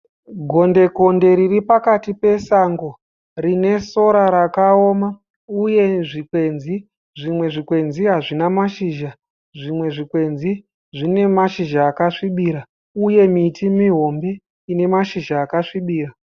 Gondekonde riri pakati pasango rine sora rakaoma uye zvikwenzi. Zvimwe zvikwenzi hazvina mashizha. Zvimwe zvikwenzi zvine mashizha akasvibira uye miti mihombe ine mashizha akasvibira.